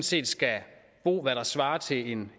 set skal bo hvad der svarer til en